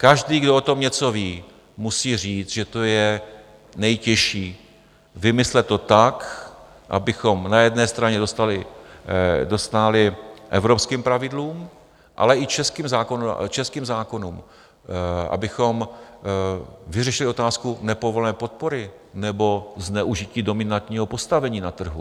Každý, kdo o tom něco ví, musí říct, že to je nejtěžší vymyslet to tak, abychom na jedné straně dostáli evropským pravidlům, ale i českým zákonům, abychom vyřešili otázku nepovolené podpory nebo zneužití dominantního postavení na trhu.